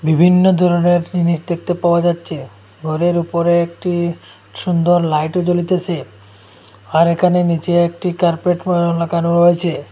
বিভিন্ন ধরনের জিনিস দেখতে পাওয়া যাচ্ছে ঘরের ওপরে একটি সুন্দর লাইট জ্বলিতেসে আর এখানে নীচে একটি কার্পেট লাগানো রয়েছে।